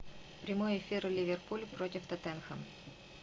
прямой эфир ливерпуль против тоттенхэм